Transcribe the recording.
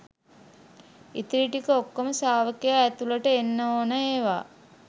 ඉතිරි ටික ඔක්කෝම ශ්‍රාවකයා ඇතුළට එන්න ඕන ඒවා